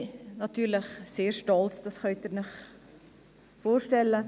Natürlich sind wir sehr stolz, das können Sie sich vorstellen.